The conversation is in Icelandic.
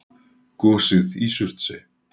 Gosið í Surtsey.